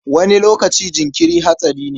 Wani lokaci jinkiri hatsari ne.